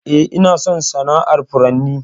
Eh, Ina son sana'ar furanni.